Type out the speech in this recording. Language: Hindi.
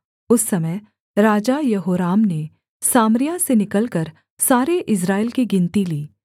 उस समय राजा यहोराम ने सामरिया से निकलकर सारे इस्राएल की गिनती ली